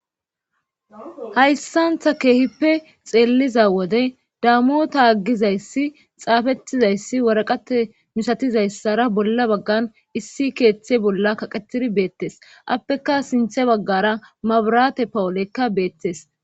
Hayssantha keehippe xeelliza wode dammota aggizayssi xaafettizayssi waraqate misatizayssara bolla baggan issi keeththe bolla kaqetiri beettes appeka sinthe baggara mabirate pawulekka beettes.